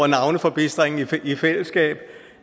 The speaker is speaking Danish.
navneforbistringen i fællesskab